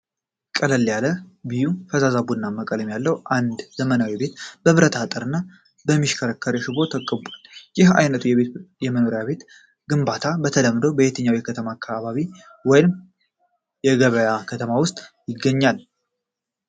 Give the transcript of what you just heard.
ቀለል ያለ ቢዩ (ፈዛዛ ቡናማ) ቀለም ያለው አንድ ዘመናዊ ቤት በብረት አጥር እና በሚሽከረከር ሽቦ ተከቧል። ይህ ዓይነቱ የመኖሪያ ቤት ግንባታ በተለምዶ በየትኛው የከተማ አካባቢ ወይም የገበያ ከተማ ውስጥ ይገኛል?